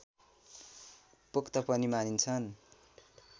पोख्त पनि मानिन्छन्